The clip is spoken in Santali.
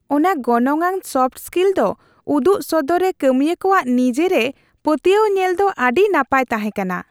ᱚᱱᱟ ᱜᱚᱱᱚᱝᱟᱱ ᱥᱚᱯᱷᱴ ᱥᱠᱤᱞ ᱠᱚ ᱩᱫᱩᱜ ᱥᱚᱫᱚᱨ ᱨᱮ ᱠᱟᱹᱢᱤᱭᱟᱹ ᱠᱚᱣᱟᱜ ᱱᱤᱡᱮᱨᱮ ᱯᱟᱹᱛᱭᱟᱹᱣ ᱧᱮᱞ ᱫᱚ ᱟᱹᱰᱤ ᱱᱟᱯᱟᱭ ᱛᱟᱦᱮᱸᱠᱟᱱᱟ ᱾